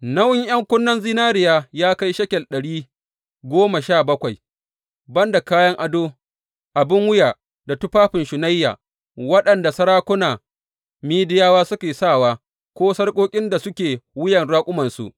Nauyin ’yan kunnen zinariyar ya kai shekel ɗari goma sha bakwai, ban da kayan ado, abin wuya da tufafin shunayya waɗanda sarakuna Midiyawa suke sawa ko sarƙoƙin da suke wuyar raƙumansu.